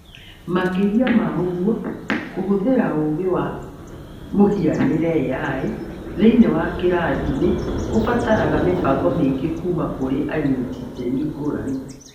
Makĩria ma ũguo, kũhũthĩra ũũgĩ wa mũhianĩre(AI) thĩinĩ wa kĩrathi nĩ kũbataraga mĩbango mĩingĩ kuuma kũrĩ anyiti itemi ngũrani.